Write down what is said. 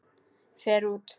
Fer út.